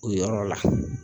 O yɔrɔ la